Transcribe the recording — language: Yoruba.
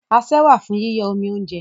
Asẹ́ wà fún yíyọ́ omi óúnjẹ.